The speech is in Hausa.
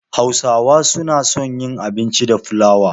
Hausawa suna son yin abinci da flawa.